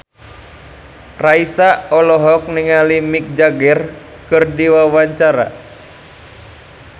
Raisa olohok ningali Mick Jagger keur diwawancara